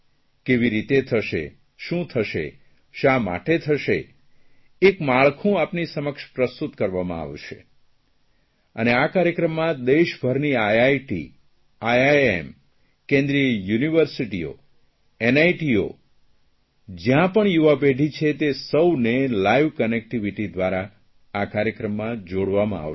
કેવી રીતે થશે શું થશે શા માટે થશે અને આ કાર્યક્રમમાં દેશભરની આઇઆઇટી આઇઆઇએમ કેન્દ્રીય યુનિવર્સિટીઓ એનઆઇટીઓ જયાં પણ યુવાપેઢી છે તે સહુએ લાઇવકનેક્ટીવીટી દ્વારા આ કાર્યક્રમમાં જોડવામાં આવશે